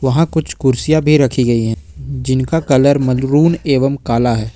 वहां कुछ कुर्सियां भी रखी गई है जिनका कलर मलरून एवं कला है।